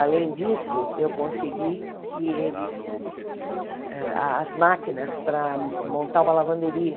Além disso, eu consegui que eles a as máquinas para montar uma lavanderia.